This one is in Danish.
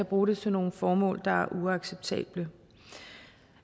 bruge det til nogle formål der er uacceptable